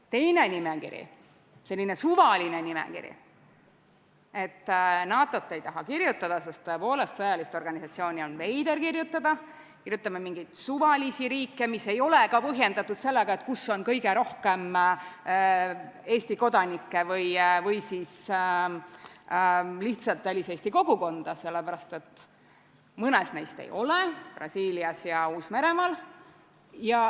Teine nimekiri, selline suvaline nimekiri, et NATO-t ei taha kirjutada, sest tõepoolest, sõjalist organisatsiooni on veider kirjutada, kirjutame mingeid suvalisi riike, mis ei ole ka põhjendatud sellega, kus on kõige rohkem Eesti kodanikke või siis lihtsalt väliseesti kogukonda, sellepärast et mõnes neist ei ole, näiteks Brasiilias ja Uus-Meremaal.